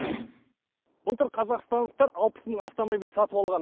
былтыр қазақстандықтар алпыс мың автомобиль сатып алған